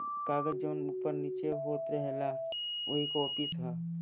कागज जॉन ऊपर निचे होथ रहेला वो एक ऑफिस है।